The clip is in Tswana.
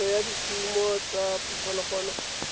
phetiso ya dikumo tsa diphologolo